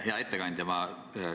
Hea ettekandja!